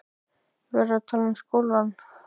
En ég verð að tala um skólann.